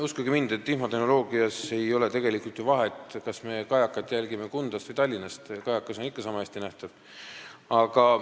Uskuge mind, infotehnoloogias ei ole tegelikult vahet, kas me jälgime kajakat Kundast või Tallinnast, kajakas on ikka niisama hästi nähtav.